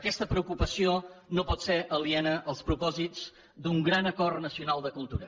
aquesta preocupació no pot ser aliena als propòsits d’un gran acord nacional de cultura